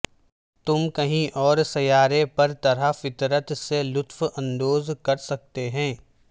تم کہیں اور سیارے پر طرح فطرت سے لطف اندوز کر سکتے ہیں